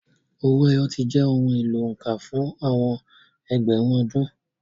Owó ẹyọ ti jẹ́ ohun èlò òǹkà fún àwọn ẹgbẹ̀rún ọdún.